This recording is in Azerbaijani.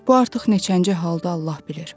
Bu artıq neçənci haldır Allah bilir.